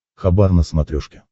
хабар на смотрешке